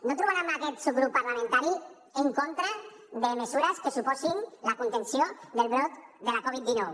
no trobaran aquest subgrup parlamentari en contra de mesures que suposin la contenció del brot de la covid dinou